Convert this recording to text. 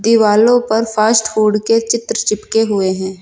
दीवालों पर fast food के चित्र चिपके हुए हैं।